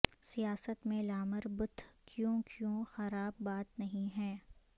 سیاست میں لامر بتھ کیوں کیوں خراب بات نہیں ہے